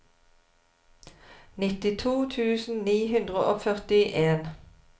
nittito tusen ni hundre og førtien